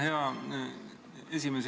Hea esimees!